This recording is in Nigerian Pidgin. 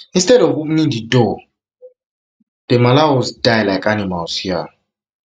instead of opening di door di door dem allow us die like animals hia